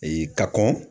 Ee ka kɔn